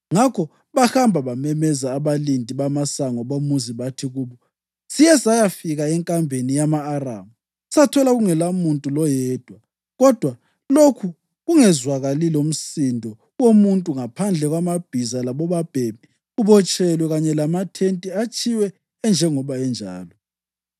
Ngakho bahamba bamemeza abalindi bamasango bomuzi bathi kubo, “Siye sayafika enkambeni yama-Aramu sathola kungelamuntu loyedwa kodwa lokhu kungezwakali lomsindo womuntu ngaphandle kwamabhiza labobabhemi kubotshelwe, kanye lamathente atshiywe enjengoba enjalo.”